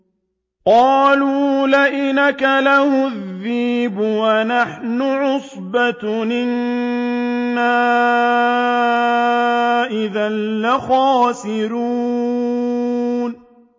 قَالُوا لَئِنْ أَكَلَهُ الذِّئْبُ وَنَحْنُ عُصْبَةٌ إِنَّا إِذًا لَّخَاسِرُونَ